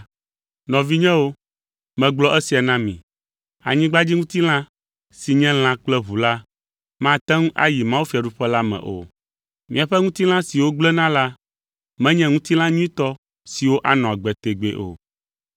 Nɔvinyewo, megblɔ esia na mi: Anyigbadziŋutilã si nye lã kple ʋu la, mate ŋu ayi mawufiaɖuƒe la me o. Míaƒe ŋutilã siwo gblẽna la menye ŋutilã nyuitɔ siwo anɔ agbe tegbee o.